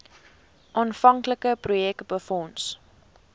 aanvanklike projek befonds